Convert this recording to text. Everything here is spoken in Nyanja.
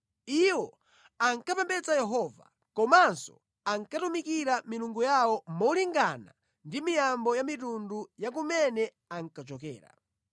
Iwowo ankapembedza Yehova, komanso ankatumikira milungu yawo molingana ndi miyambo ya mitundu ya kumene ankachokera.